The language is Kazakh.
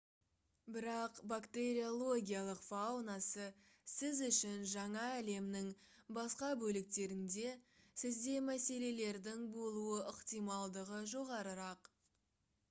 бірақ бактериологиялық фаунасы сіз үшін жаңа әлемнің басқа бөліктерінде сізде мәселелердің болуы ықтималдығы жоғарырақ